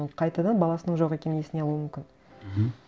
ол қайтадан баласының жоқ екенін есіне алуы мүмкін мхм